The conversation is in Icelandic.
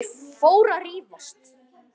Þau fóru að rífast!